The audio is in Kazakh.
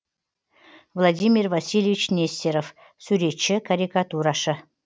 владимир васильевич нестеров суретші карикатурашы